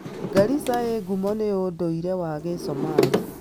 Garissa ĩĩ ngumo nĩ ũndũire wa Gĩsomali.